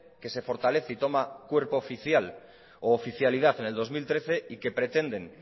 que se fortalece y toma cuerpo oficial u oficialidad en el dos mil trece y que pretenden